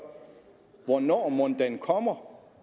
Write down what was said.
hvornår mon den kommer